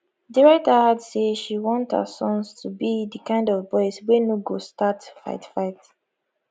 di writer add say she want her sons to be di kind of boys wey no go start fight fight